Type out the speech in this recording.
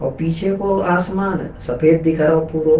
और पीछे को आसमान सफेद दिख रहो पूरो।